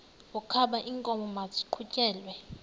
wokaba iinkomo maziqhutyelwe